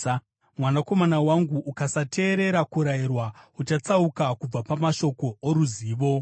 Mwanakomana wangu, ukasateerera kurayirwa, uchatsauka kubva pamashoko oruzivo.